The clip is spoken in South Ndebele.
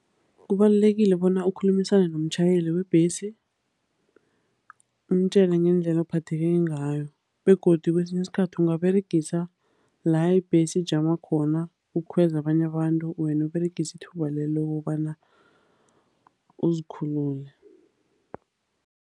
Kubalulekile bona ukukhulumisane nomtjhayeli webhesi umtjele ngendlela ophatheke ngayo begodu kwesinye isikhathi ungaberegisa la ibhesi ijama khona ukukhweza abanye abantu, wena uberegisa ithuba lelo kobana uzikhulule.